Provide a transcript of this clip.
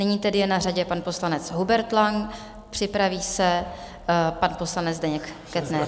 Nyní tedy je na řadě pan poslanec Hubert Lang, připraví se pan poslanec Zdeněk Kettner.